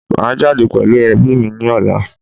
Maa jade pelu ebi ni ola